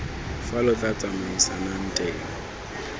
fa lo tla tsamaisanang teng